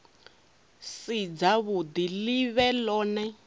si dzavhuḓi ḽi vhe ḽone